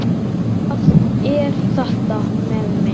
Hvað er þetta með mig?